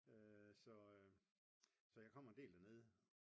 Så jeg kommer en del dernede